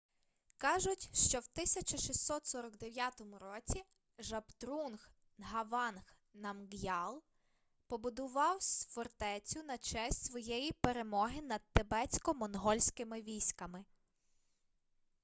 кажуть що в 1649 році жабдрунг нгаванг намґ'ял побудував фортецю на честь своєї перемоги над тибетсько-монгольськими військами